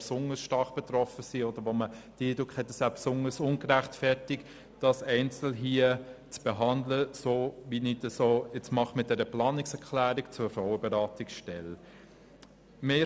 besonders stark betroffene Organisationen einzeln zu behandeln, so wie ich dies mit der Planungserklärung zur Frauenberatungsstelle anstrebe.